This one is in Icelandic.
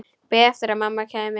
Beið eftir að mamma kæmi.